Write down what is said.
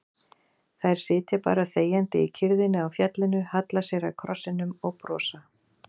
Þær sitja bara þegjandi í kyrrðinni á fjallinu, halla sér að krossinum og brosa.